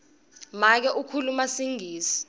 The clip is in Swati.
make ukhuluma singisi